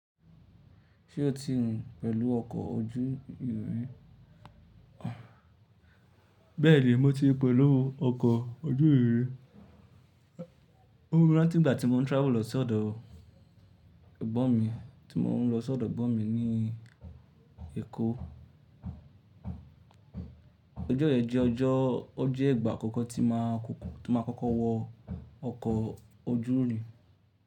Ṣé o ti rìn pẹ̀lú ọkọ̀ ojú irin ri? Bẹ́ẹ̀ni, mo ti rin pulu ọkọ̀ ojú irin ri. Mo rín láti ìgbà tí mo ń travel lọ sí ọ̀dọ̀ ẹ̀gbọ́n mi, tí mo ń lọ sí ọ̀dọ̀ ẹ̀gbọ́n mi ní Èkó. Ọjọ́ yẹn jẹ́ ọjọ́, ó jẹ́ ìgbà àkọ́kọ́ tí ma kọ́kọ́ wọ ọkọ̀ ojú irin.